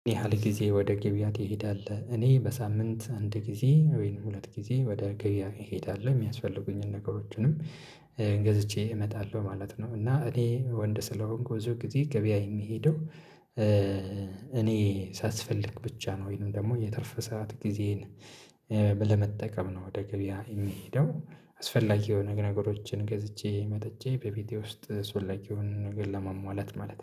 ምን ያህል ጊዜ ወደ ገበያ ትሄዳልህ? እኔ በሳምንት አንድ ጊዜ ወይንም ሁለት ጊዜ ወደ ገበያ እሄዳለሁ። የሚያስፈልጉኝን ነገሮችንም ገዝቼ እመጣለሁ ማለት ነው እና እኔ ወንድ ስለሆንኩ ብዙ ጊዜ ገበያ የምሄደው እኔ ሳስፈልግ ብቻ ነው ወይንም ደግሞ የትርፍ ሰዓት ጊዜን ለመጠቀም ነው ወደ ገበያ የሚሄደው አስፈላጊ የሆነ ነገሮችን ገዝቼ መጥቼ በቤቴ ውስጥ አስፈላጊ የሆነ ነገር ለማሟላት ማለት ነው።